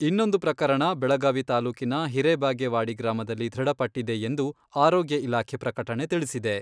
ಇನ್ನೊಂದು ಪ್ರಕರಣ ಬೆಳಗಾವಿ ತಾಲೂಕಿನ ಹಿರೇಬಾಗೇವಾಡಿ ಗ್ರಾಮದಲ್ಲಿ ದೃಢಪಟ್ಟಿದೆ ಎಂದು ಆರೋಗ್ಯ ಇಲಾಖೆ ಪ್ರಕಟಣೆ ತಿಳಿಸಿದೆ.